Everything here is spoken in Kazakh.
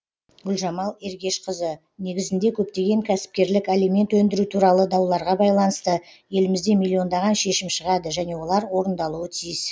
гүлжамал ергешқызы негізінде көптеген кәсіпкерлік алимент өндіру туралы дауларға байланысты елімізде миллиондаған шешім шығады және олар орындалуы тиіс